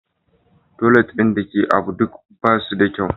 Toilet ɗin da ke ABU duk ba su da kyau.